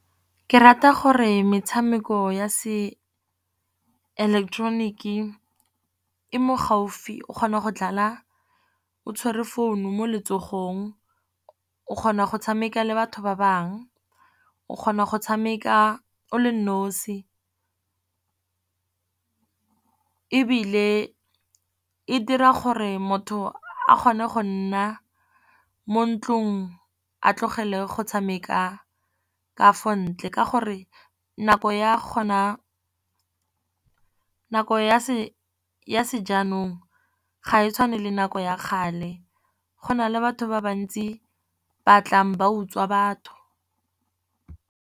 Ke rata gore metshameko ya se ileketeroniki e mo gaufi, o kgona go dlala o tshwere founu mo letsogong. O kgona go tshameka le batho ba bangwe o kgona go tshameka o le nosi. Ebile e dira gore motho a kgone go nna mo ntlong a tlogele go tshameka ka fo ntle. Ka gore nako ya se jaanong ga e tshwane le nako ya kgale, gona le batho ba bantsi ba tlang ba utswa batho.